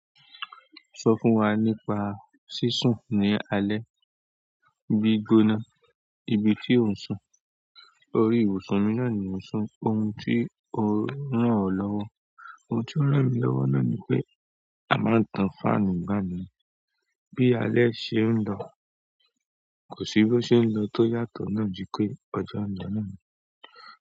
Sọ fún wa nípa sísùn ní alẹ́, bí gbóná ibi tí ò ń sùn. Orí ibùsùn mi náà ni mo sùn, ohun tí ó rán ọ lọ́wọ́ náà ni pé à máa tan fáànù ní ìgbà náà bí alẹ́ ṣe ń da. Kò sí bó ṣe ń lọ tó yàtọ̀ náà ju pé ọjọ́ lọ náà ni.